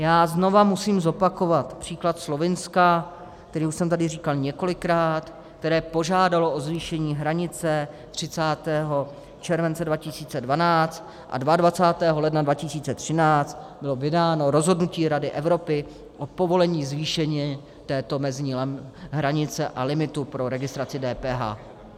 Já znovu musím zopakovat příklad Slovinska, který už jsem tady říkal několikrát, které požádalo o zvýšení hranice 30. července 2012 a 22. ledna 2013 bylo vydáno rozhodnutí Rady Evropy o povolení zvýšení této mezní hranice a limitu pro registraci DPH.